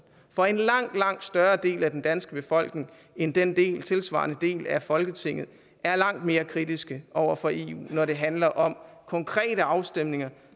for en langt langt større del af den danske befolkning end den tilsvarende del af folketinget er langt mere kritiske over for eu når det handler om konkrete afstemninger